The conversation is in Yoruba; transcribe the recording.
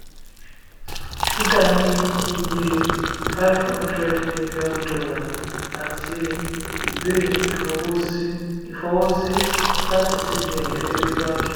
kuda ní iye $500 million àti àti ìwé ìfọwọ́sí láti cbn gẹ́gẹ́ bí báńkì.